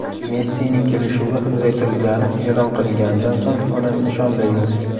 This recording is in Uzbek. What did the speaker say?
Messining kelishuvi uzaytirilgani e’lon qilinganidan so‘ng uni nishonlaymiz.